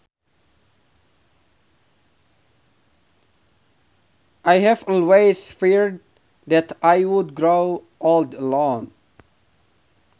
I have always feared that I would grow old alone